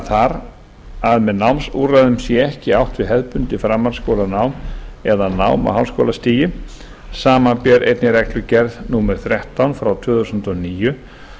þar að með námsúrræðum sé ekki átt við hefðbundið framhaldsskólanám eða nám á háskólastigi samanber einnig reglugerð númer þrettán tvö þúsund og níu